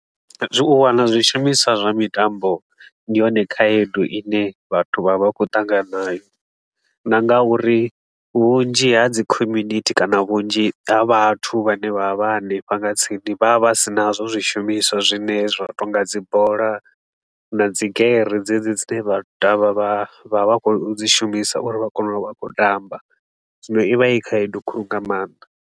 Zwi u wana zwishumiswa zwa mitambo, ndi yone khaedu i ne vhathu vha vha vha khou ṱangana nayo. Na nga uri vhunzhi ha dzi community kana vhunzhi ha vhathu vhane vha vha vha hanefha nga tsini. Vha vha vha si nazwo zwishumiswa zwine zwa tou nga dzi bola na dzigere dzedzi dzine vhathu vha vha vha khou dzi shumisa uri vha kone u vha a khou tamba, zwino i vha i khaedu khulu nga maanḓa.